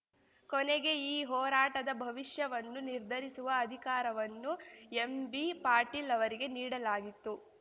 ಕೊನೆಗೆ ಈ ಹೋರಾಟದ ಭವಿಷ್ಯವನ್ನು ನಿರ್ಧರಿಸುವ ಅಧಿಕಾರವನ್ನು ಎಂಬಿ ಪಾಟೀಲ್‌ ಅವರಿಗೆ ನೀಡಲಾಗಿತ್ತು